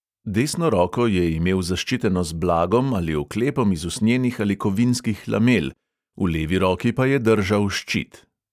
Desno roko je imel zaščiteno z blagom ali oklepom iz usnjenih ali kovinskih lamel, v levi roki pa je držal ščit.